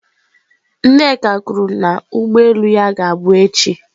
Nneka kwuru na ụgbọ elu ya ga-abụ echi.